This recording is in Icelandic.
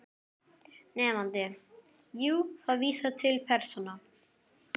Nemandi: Jú, það vísar til persóna